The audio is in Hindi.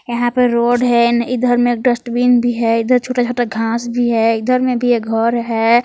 यहा पर रोड है इधर में डस्टबीन भी है इधर छोटा छोटा घास भी हैं इधर मे भी एक घर है।